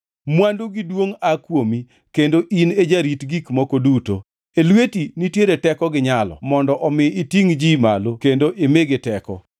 Mwandu gi duongʼ aa kuomi; kendo in e jarit gik moko duto. E lweti nitiere teko gi nyalo mondo omi itingʼ ji malo kendo imigi teko.